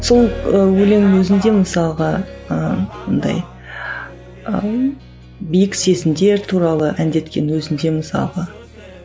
сол ы өлеңнің өзінде мысалға ыыы бұндай ы биік сезімдер туралы әндеткен өзінде мысалға